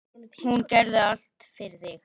Hún gerði allt fyrir þig.